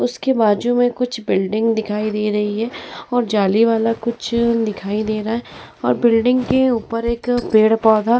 उसके बाजू में कुछ बिल्डिंग दिखाई दे रही हैं और जाली वाला कुछ दिखाई दे रहा है और बिल्डिंग के ऊपर एक पेड़-पौधा --